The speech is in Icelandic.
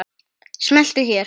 Smelltu hér.